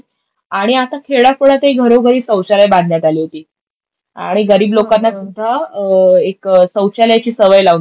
आणि आता खेड्यापड्यातही घरोघरी सौचालय बांधण्यात आली होती आणि गरीब लोकांना सुद्धा एक सौचालयची सवय लाऊन दिली.